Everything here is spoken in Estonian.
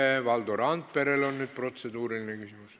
Nüüd on Valdo Randperel protseduuriline küsimus.